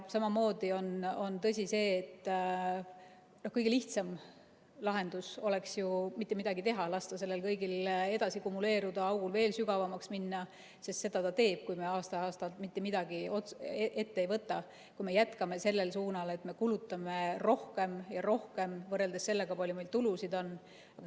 Samamoodi on tõsi, et kõige lihtsam lahendus oleks ju mitte midagi teha, lasta sellel kõigel edasi kumuleeruda, augul veel sügavamaks minna, sest seda ta teeb, kui me aasta-aastalt mitte midagi ette ei võta, kui me jätkame sellel suunal, et me kulutame rohkem ja rohkem võrreldes sellega, kui palju meil tulusid on.